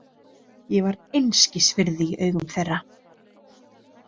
Ég var einskis virði í augum þeirra.